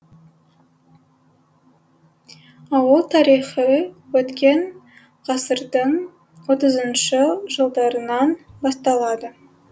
ауыл тарихы өткен ғасырдың отызыншы жылдарынан басталады